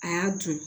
A y'a dun